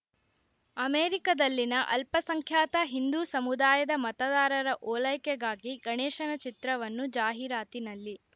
ಅಮೇರಿಕದಲ್ಲಿನ ಅಲ್ಪಸಂಖ್ಯಾತ ಹಿಂದೂ ಸಮುದಾಯದ ಮತದಾರರ ಓಲೈಕೆಗಾಗಿ ಗಣೇಶನ ಚಿತ್ರವನ್ನು ಜಾಹಿರಾತಿನಲ್ಲಿ